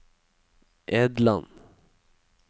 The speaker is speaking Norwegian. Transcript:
Edland